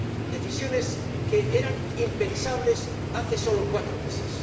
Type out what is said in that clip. decisiones que eran impensables hace sólo cuatro meses.